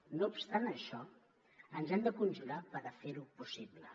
no obstant això ens hem de conjurar per fer ho possible